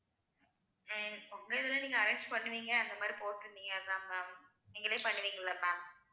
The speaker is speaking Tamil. ஹம் உங்க இதுல நீங்க arrange பண்ணுவீங்க அந்த மாதிரி போட்டிருந்தீங்க அதான் ma'am நீங்களே பண்ணுவீங்க இல்ல ma'am